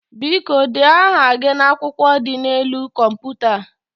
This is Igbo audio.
Biko, dee aha gị n'akwụkwọ dị n'elu kọmputa a.